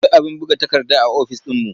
Akwai abin buga takarda a ofis ɗinmu.